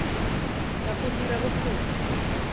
ya go dira ya bokgoni